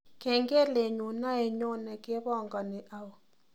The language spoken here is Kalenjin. Kengelenyu naenyone kepangani au